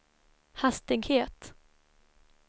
hastighet